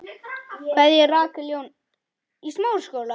Kveðja, Rakel Jóna.